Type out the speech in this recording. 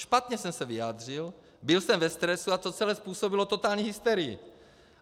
Špatně jsem se vyjádřil, byl jsem ve stresu a to celé způsobilo totální hysterii.